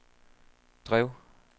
drev